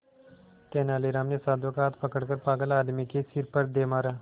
तेनालीराम ने साधु का हाथ पकड़कर पागल आदमी के सिर पर दे मारा